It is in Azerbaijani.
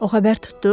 O xəbər tutdu.